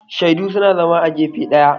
shaidu suna zama a gefe daya